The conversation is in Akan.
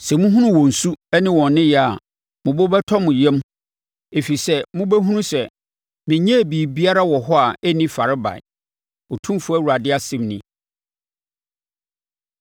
Sɛ mohunu wɔn su ne wɔn nneyɛɛ a, mo bo bɛtɔ mo yam, ɛfiri sɛ mobɛhunu sɛ, menyɛɛ biribiara wɔ hɔ a ɛnni farebae, Otumfoɔ Awurade asɛm nie.”